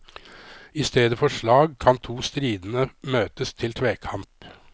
I stedet for slag kan to stridende møtes til tvekamp.